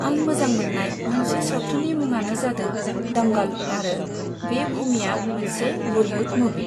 आं मोजां मोननाय मोनसे सावथुननि मुङानो जादों दंगल आरो बे मुभिआ मोनसे बलिउड मुभि।